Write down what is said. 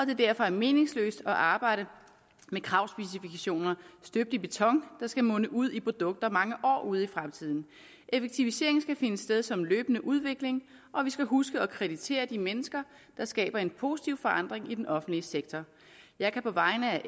det derfor er meningsløst at arbejde med kravspecifikationer støbt i beton der skal munde ud i produkter mange år ud i fremtiden effektivisering skal finde sted som en løbende udvikling og vi skal huske at kreditere de mennesker der skaber en positiv forandring i den offentlige sektor jeg kan på vegne